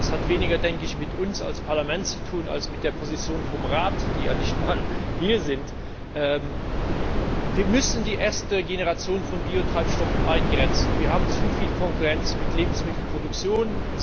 Das hat weniger mit uns als Parlament zu tun als mit der Position des Rates dessen Vertreter ja nicht einmal hier sind. Wir müssen die erste Generation von Biotreibstoffen eingrenzen. Wir haben zu viel Konkurrenz mit der Lebensmittelproduktion.